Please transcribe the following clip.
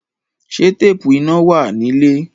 Ṣé téèpù iná wà nílé?